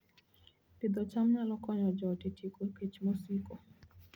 Pidho cham nyalo konyo joot e tieko kech mosiko